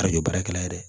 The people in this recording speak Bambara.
Karibaarakɛla ye dɛ